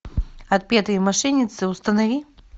отпетые мошенницы установи